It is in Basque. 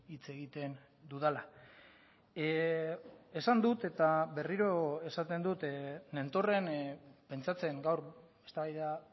hitz egiten dudala esan dut eta berriro esaten dut nentorren pentsatzen gaur eztabaida